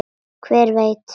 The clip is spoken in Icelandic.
Hver veit